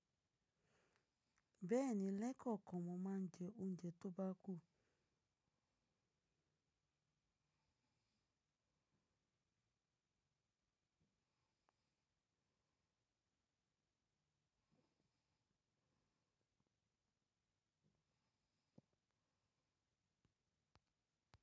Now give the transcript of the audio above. Bẹ́ẹ̀ni, lẹ́kọ̀ọ̀kọ́ mọ máa ń jẹ oúnjẹ tó bá kù.